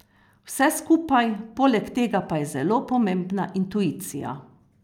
Vse skupaj, poleg tega pa je zelo pomembna intuicija.